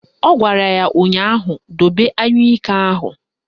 Ọ gwara ya ụnyaahụ "Dobe anyụike ahụ"!